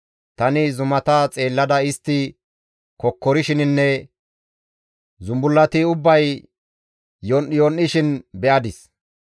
Tani zumata xeellada istti kokkorishininne zumbullati ubbay yon7iyon7ishin be7adis.